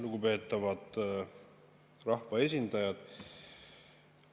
Lugupeetavad rahvaesindajad!